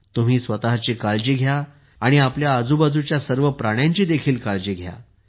तुम्ही स्वतःची काळजी घ्या आणि आपल्या आजूबाजूच्या सर्व प्राण्यांची देखील काळजी घ्या